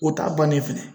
O t'a bannen filɛ